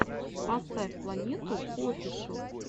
поставь планету оффишл